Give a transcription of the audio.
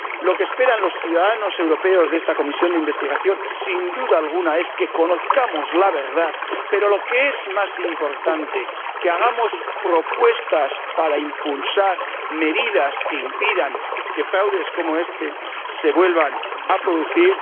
Lo que esperan los ciudadanos europeos de esta Comisión de investigación, sin duda alguna, es que conozcamos la verdad y, lo que es más importante, que hagamos propuestas para impulsar medidas que impidan que fraudes como este se vuelvan a producir.